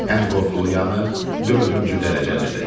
Ən qorxulu yanıq dördüncü dərəcəlidir.